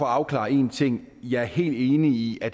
afklare en ting jeg er helt enig i at